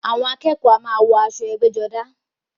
Àwọn akẹ́kọ̀ọ́ a máa wọ aṣọ ẹgbẹ́-jọdá.